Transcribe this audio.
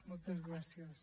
moltes gràcies